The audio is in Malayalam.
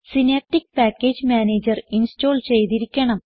സിനാപ്റ്റിക് പാക്കേജ് മാനേജർ ഇൻസ്റ്റോൾ ചെയ്തിരിക്കണം